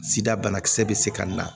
Sida banakisɛ bɛ se ka na